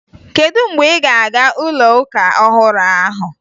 Kedu mgbe ị́ ga-aga ụlọụka ọhụrụ ahụ?